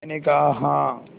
मैंने कहा हाँ